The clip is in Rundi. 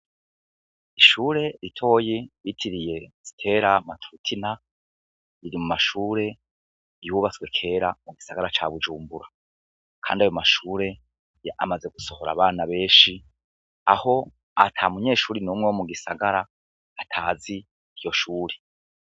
Ishuri ritoya bitiriye Stella maturtina riri mu mashuri yubatswe kera mu gisagara ca Bujumbura kandi ayo mashure amaze gusohora abana beshi aho atamunyeshure n'umwe wo mugisagara atazi iryo shure.